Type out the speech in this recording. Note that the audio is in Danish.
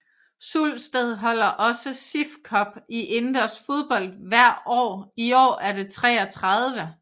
Sulsted holder også sif cup i indendørs fodbold hver år i år er det 33